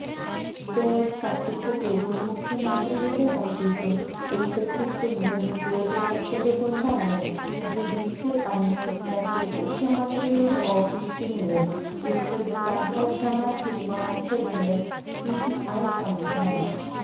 solar തട്ടിപ്പുകേസില് മുഖ്യമന്ത്രിയുടെ ഓഫീസും ഉള്പ്പെട്ടിട്ടുണെ്ടന്നു ബോധ്യപ്പെട്ടതുകൊണ്ടാണ് ജുഡീഷ്യല് അന്വേഷണത്തില് മുഖ്യമന്ത്രിയുടെ ഓഫീസിനേയും ഉള്പ്പെടുത്താന് ഹൈക്കമാന്റ് തീരുമാനിച്ചതെന്നു സിപിഐ സംസ്ഥാന